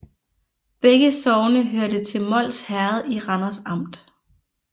Begge sogne hørte til Mols Herred i Randers Amt